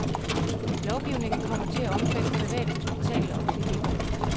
Lovgivningen kommer til at omfatte private hospitaler og klinikker.